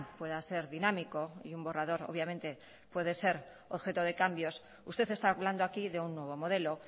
pueda ser dinámico y un borrador obviamente puede ser objeto de cambios usted está hablando aquí de un nuevo modelo